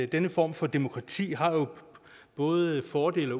denne form for demokrati både har fordele